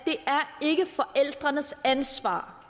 ikke er forældrenes ansvar